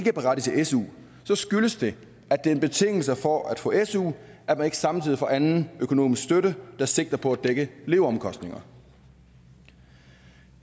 er parate til su skyldes det at det er en betingelse for at få su at man ikke samtidig får anden økonomisk støtte der sigter på at dække leveomkostningerne